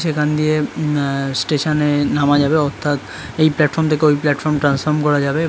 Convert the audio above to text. সেখান দিয়ে আ- স্টেশন এ নামা যাবে অর্থাৎ এই প্লাটফর্ম থেকে ওই প্লাটফর্ম ট্রান্সফর্ম করা যাবে।